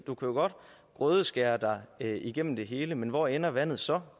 du kan jo godt grødeskære dig igennem det hele men hvor ender vandet så